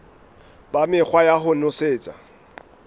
ba mekgwa ya ho nosetsa